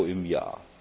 Euro im Jahr.